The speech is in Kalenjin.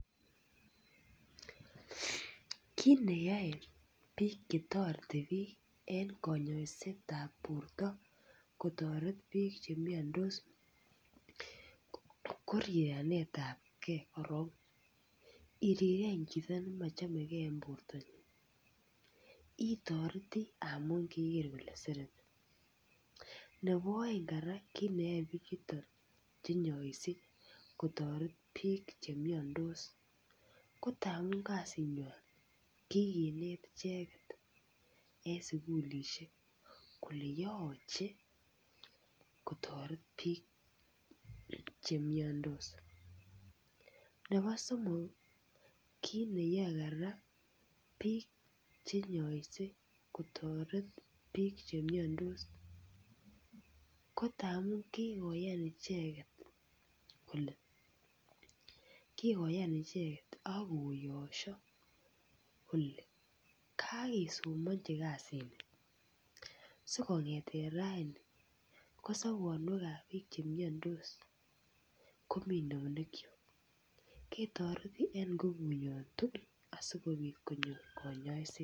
Kit ne yoe bik Che toreti en kanyaiset ab borto kotoret bik Che miandos ko rirenet ab gee iriren chito nemochome gee en bortanyin itoreti amun keger kole sereti nebo aeng kora neyoe bichuto Che inyoise kotoret bik Che miandos ko amun kasinywan kikinet icheget en sukulisiek kole yoche kotoret bik Che miandos nebo somok kit neyoe bik kora Che inyoise kotoret bik Che miandos ko angamun kikoyan icheget kole ak koyosio kole kakesomanji so kongeten raini ko sobonwekab bik Che miandos komi eunekyok ketoreti asikobit konyor kanyaiset